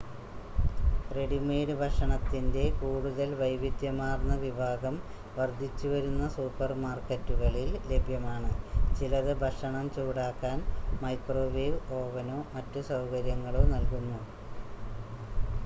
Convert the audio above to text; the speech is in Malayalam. റെഡിമെയ്ഡ് ഭക്ഷണത്തിൻ്റെ കൂടുതൽ വൈവിധ്യമാർന്ന വിഭാഗം വർദ്ധിച്ചുവരുന്ന സൂപ്പർമാർക്കറ്റുകളിൽ ലഭ്യമാണ് ചിലത് ഭക്ഷണം ചൂടാക്കാൻ മൈക്രോവേവ് ഓവനോ മറ്റ് സൗകര്യങ്ങളോ നൽകുന്നു